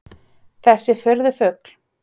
Þessi furðufugl?